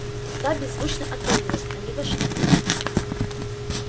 та беззвучно отворилась они вошли